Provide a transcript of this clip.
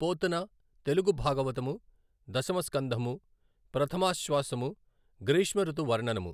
పోతన తెలుగు భాగవతము దశమ స్కంధము ప్రథమాశ్వాసము గ్రీష్మఋతు వర్ణనము